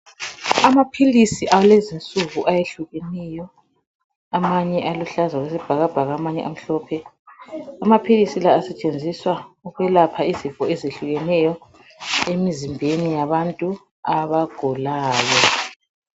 Amaphilisi alezi nsuku ayehlukeneyo amanye aluhlaza okwesibhakabhaka amanye amhlophe amaphilisi la asetshenziswa ukwelapha izifo ezehlukeneyo emzimbeni yabantu abagulayo.